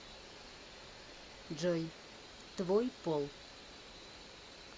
джой твой пол